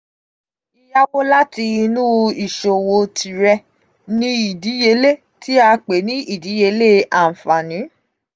yíyáwó láti inú ìṣòwò tìrẹ ni um ìdíyelé tí a pè ní ìdíyelé àǹfaààní.